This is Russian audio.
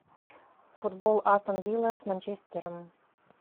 футбол астон вилла с манчестером